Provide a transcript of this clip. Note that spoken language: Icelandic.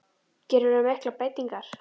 Gerirðu miklar breytingar?